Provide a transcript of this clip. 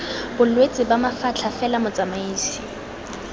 bolwetse ba mafatlha fela motsamaisi